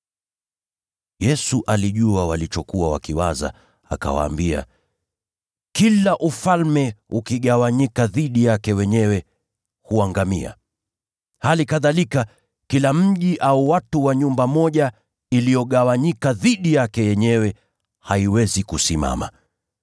Yesu alijua walichokuwa wakiwaza, hivyo akawaambia, “Kila ufalme ukigawanyika dhidi yake wenyewe huangamia. Hali kadhalika kila mji au watu wa nyumba moja waliogawanyika dhidi yao wenyewe hawawezi kusimama.